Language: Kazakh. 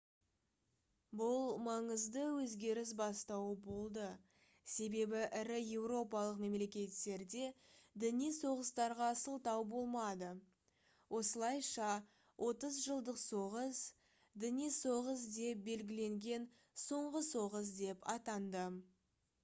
бұл маңызды өзгеріс бастауы болды себебі ірі еуропалық мемлекеттерде діни соғыстарға сылтау болмады осылайша отыз жылдық соғыс діни соғыс деп белгіленген соңғы соғыс деп атанды